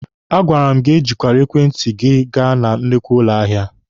A gwara m gị ejikwele ekwentị gị aga na nnukwu ụlọ ahịa!